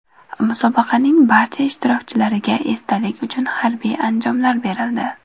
Musobaqaning barcha ishtirokchilariga esdalik uchun harbiy anjomlar berildi.